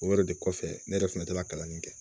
O yɛrɛ de kɔfɛ ne yɛrɛ fɛnɛ tɛ ka kalanden kɛ